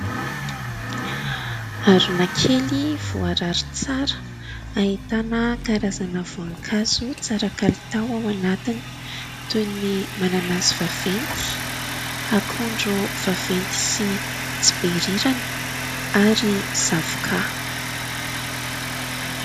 Harona kely voarary tsara ahitana karazana voankazo tsara kalitao ao anatiny toy ny mananasy vaventy, akondro vaventy sy tsy be rirany ary zavoka.